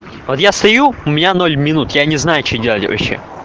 вот я стою у меня ноль минут я не знаю что делать вообще